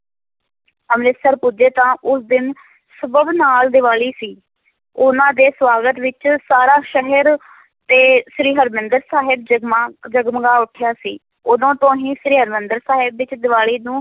ਅੰਮ੍ਰਿਤਸਰ ਪੁੱਜੇ ਤਾਂ ਉਸ ਦਿਨ ਸਬੱਬ ਨਾਲ ਦੀਵਾਲੀ ਸੀ, ਉਹਨਾਂ ਦੇ ਸਵਾਗਤ ਵਿੱਚ ਸਾਰਾ ਸ਼ਹਿਰ ਤੇ ਸ੍ਰੀ ਹਰਿਮੰਦਰ ਸਾਹਿਬ ਜਮਗਾ, ਜਗਮਗਾ ਉਠਿਆ ਸੀ, ਉਦੋਂ ਤੋਂ ਹੀ ਸ੍ਰੀ ਹਰਿਮੰਦਰ ਸਾਹਿਬ ਵਿੱਚ ਦੀਵਾਲੀ ਨੂੰ